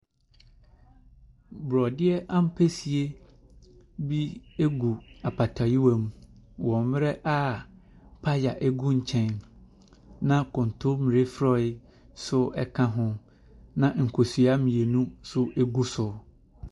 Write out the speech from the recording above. Borɔdeɛ ampesie gu apɔtɔwewa mu wɔ mmerɛ a paya gu nkyɛn. Na kɔntɔmmire frɔe ka ho. Na nkosua mmienu so gu so.